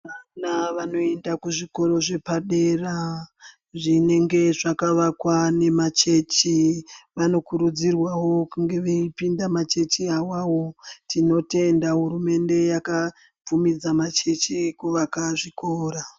Vana vanoyenda kuzvikoro zvepadera dera, zvinenge zvakavakwa nemachechi, vanokurudzirwawo kunge veyipinda machechi wawawo. Tinotenda hurumende yakabvumidza machechi kuvaka zvikora.